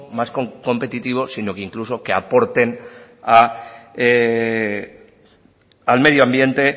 más competitivo sino que incluso que aporten al medioambiente